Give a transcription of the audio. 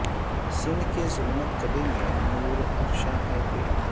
سندھ کے ظلمت کدے میں نور افشاں ہے کو ئی